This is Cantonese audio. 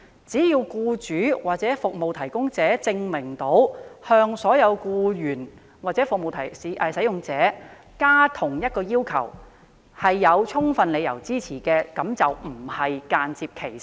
只要僱主或服務提供者證明要求所有僱員或服務使用者遵守劃一的要求，而該要求有充分理由支持，便不是間接歧視。